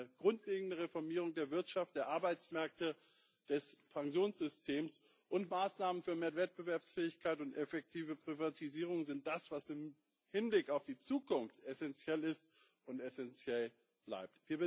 Eine grundlegende Reformierung der Wirtschaft, der Arbeitsmärkte und des Pensionssystems und Maßnahmen für mehr Wettbewerbsfähigkeit und effektive Privatisierungen sind das, was im Hinblick auf die Zukunft essenziell ist und essenziell bleibt.